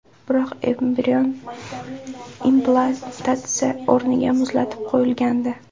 Biroq, embrion implantatsiya o‘rniga muzlatib qo‘yilgandi.